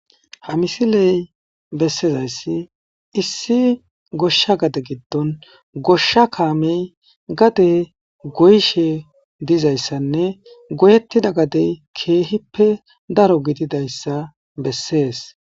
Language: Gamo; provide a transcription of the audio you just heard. ha misiley bessezayssi issi goshsha gade giddon goshsha kaamey gade goyshe dizayssanne goyettida gadey keehippe daro gididayssa bessees